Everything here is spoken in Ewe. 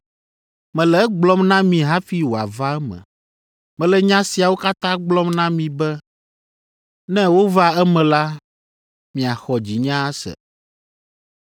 “Mele egblɔm na mi hafi wòava eme. Mele nya siawo katã gblɔm na mi be ne wova eme la, miaxɔ dzinye ase.